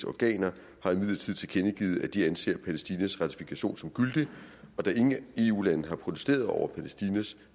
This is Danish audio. organer har imidlertid tilkendegivet at de anser palæstinas ratifikation som gyldig og da ingen eu lande har protesteret over palæstinas